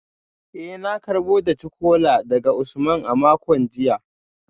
Eh na karbo daci-kola daga Usman a makon jiya